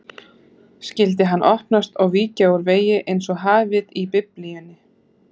Skyldi hann opnast og víkja úr vegi einsog hafið í Biblíunni?